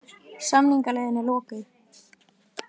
Samningaleiðin er lokuð